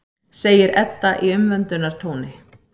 segir Edda í umvöndunartóni.